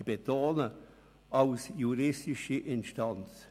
Ich betone: als juristische Instanz.